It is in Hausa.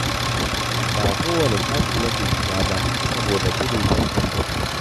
Ba kowane shafi nake shiga ba, saboda gudun 'yan dandatsa.